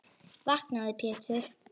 Vaknaðu Pétur.